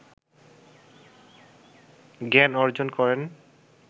জ্ঞান অর্জন করেন